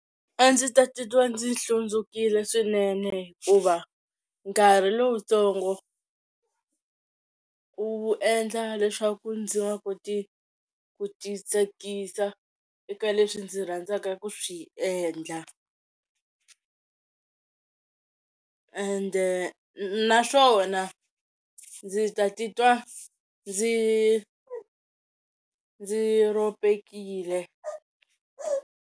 A ndzi ta titwa ndzi hlundzukile swinene hikuva nkarhi lowutsongo wu endla leswaku ndzi nga koti ku titsakisa eka leswi ndzi rhandzaka ku swi endla ende naswona ndzi ta titwa ndzi ndzi ropekile.